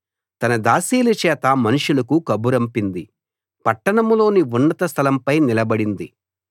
తన దాసీల చేత మనుషులకు కబురంపింది పట్టణంలోని ఉన్నత స్థలంపై నిలబడింది